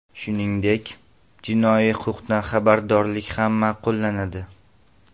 Shuningdek, jinoiy huquqdan xabardorlik ham ma’qullanadi.